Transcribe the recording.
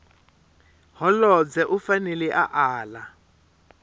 holobye u fanele a ala